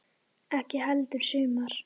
Ekki heldur sumar.